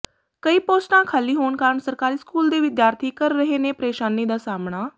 ਕਈ ਪੋਸਟਾਂ ਖਾਲੀ ਹੋਣ ਕਾਰਨ ਸਰਕਾਰੀ ਸਕੂਲ ਦੇ ਵਿਦਿਆਰਥੀ ਕਰ ਰਹੇ ਨੇ ਪ੍ਰੇਸ਼ਾਨੀ ਦਾ ਸਾਹਮਣਾ